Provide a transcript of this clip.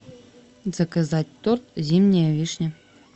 заказать торт зимняя вишня